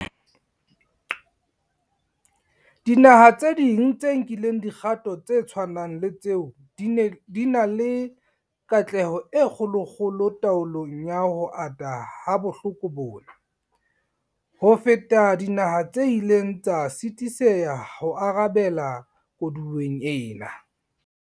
Dinaha tse ding tse nkileng dikgato tse tshwanang le tseo di na le katleho e kgolokgolo taolong ya ho ata ha bohloko bona, ho feta dinaha tse ileng tsa sisitheha ho arabela koduweng ena.